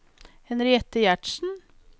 Henriette Gjertsen